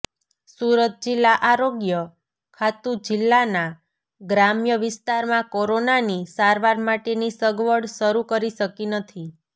સુરત જિલ્લા આરોગ્ય ખાતું જિલ્લાના ગ્રામ્ય વિસ્તારમાં કોરોનાની સારવાર માટેની સગવડ શરૂ કરી શકી નથી